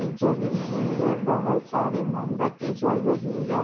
जली हुई है बहोत सारी मोमबत्ती जल रही है।